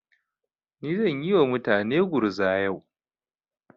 Ni zan yi wa mutane gurza yau.